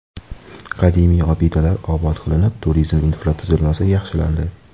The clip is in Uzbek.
Qadimiy obidalar obod qilinib, turizm infratuzilmasi yaxshilandi.